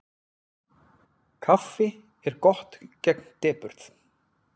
Kaffi er gott gegn depurð.